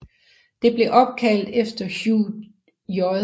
Det blev opkaldt efter Hugh J